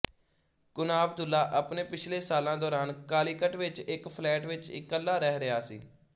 ਕੁੰਣਾਬਦੁੱਲਾ ਆਪਣੇ ਪਿਛਲੇ ਸਾਲਾਂ ਦੌਰਾਨ ਕਾਲੀਕਟ ਵਿੱਚ ਇੱਕ ਫਲੈਟ ਵਿੱਚ ਇਕੱਲਾ ਰਹਿ ਰਿਹਾ ਸੀ